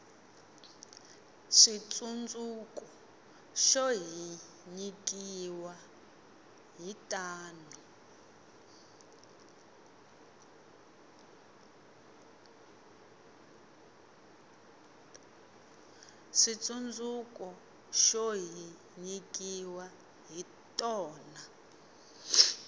switsundzuko xo hi nyikiwa hi tona